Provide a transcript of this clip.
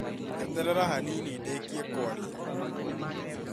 Eterera hanini ndĩkie kũaria